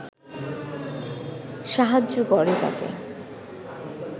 সাহায্য করে তাকে